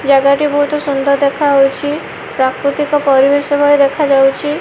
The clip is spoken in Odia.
ଜାଗାଟି ବହୁତୁ ସୁନ୍ଦର ଦେଖା ହୋଉଛି ପ୍ରାକୃତିକ ପରିବେଶ ଭଳି ଦେଖାଯାଉଛି।